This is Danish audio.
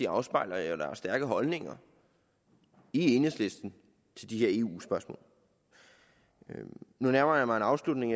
afspejler stærke holdninger i enhedslisten til de her eu spørgsmål nu nærmer jeg mig en afslutning